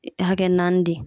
E hakɛ naani de